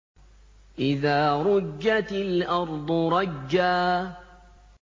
إِذَا رُجَّتِ الْأَرْضُ رَجًّا